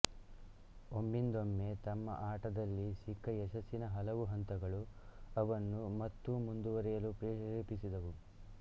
ಒಮ್ಮಿಂದೊಮ್ಮೆ ತಮ್ಮ ಆಟದಲ್ಲಿ ಸಿಕ್ಕ ಯಶಸ್ಸಿನ ಹಲವು ಹಂತಗಳು ಅವರನ್ನು ಮತ್ತೂ ಮುಂದುವರೆಯಲು ಪ್ರೇರೇಪಿಸಿದವು